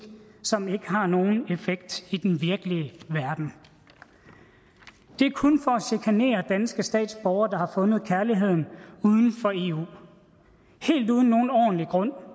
som ikke har nogen effekt i den virkelige verden det er kun for at chikanere danske statsborgere der har fundet kærligheden uden for eu og helt uden nogen ordentlig grund